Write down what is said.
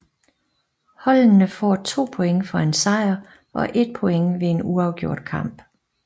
Holdene får 2 point for en sejr og 1 point ved en uafgjort kamp